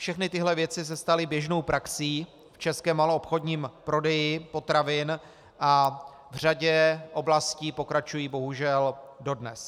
Všechny tyhle věci se staly běžnou praxí v českém maloobchodním prodeji potravin a v řadě oblastí pokračují bohužel dodnes.